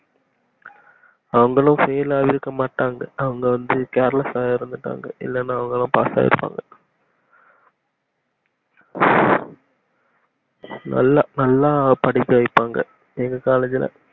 அவங்களும் fail ஆகிருக்க மாட்டாங்க அவங்க வந்து careless ஆ இருந்துட்டாங்க இல்லனா அவங்களும் pass ஆகிருப்பாங்க நல்லா நல்லா படிக்க வைப்பாங்க எங்க காலேஜ்ல